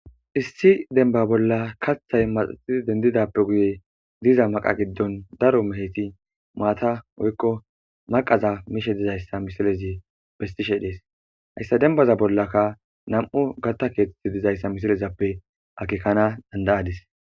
issi demba bolla kaththay maxaxidi dendidappe guye diza maqa giddon daro meheti maata oykko maqaza mishe dizayssa misilezi bestishe dees hayssa dembaza bollaka nam7u gatta keethetti dizayssa misilezappe akekana dandayadis